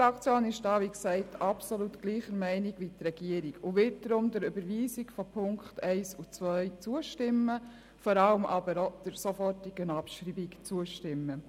Die SP-Fraktion ist hier gleicher Meinung wie die Regierung und wird deshalb der Überweisung der Punkt 1 und 2, vor allem aber auch der sofortigen Abschreibung, zustimmen.